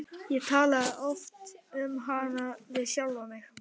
Og ég talaði oft um hana við sjálfan mig.